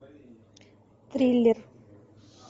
триллер